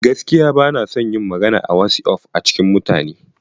Gaskiya ba na son na yi magana a wasi'of a cikin mutane.